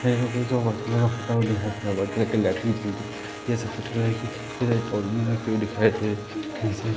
सफेद कलर की रखी हुई दिखाई दे रही है ।